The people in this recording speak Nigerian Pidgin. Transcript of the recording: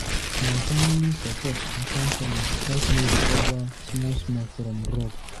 Na family support and counseling helep me recover small small from drug.